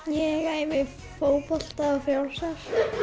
ég æfi fótbolta og frjálsar